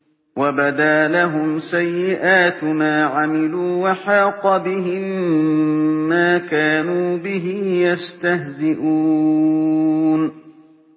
وَبَدَا لَهُمْ سَيِّئَاتُ مَا عَمِلُوا وَحَاقَ بِهِم مَّا كَانُوا بِهِ يَسْتَهْزِئُونَ